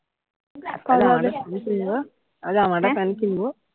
একটা জামা আমার একটা প্যান্ট কিনবো